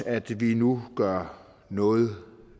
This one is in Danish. at vi nu gør noget